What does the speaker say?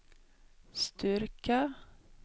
Sturkö